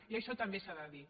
i això també s’ha de dir